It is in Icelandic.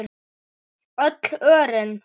Öll örin.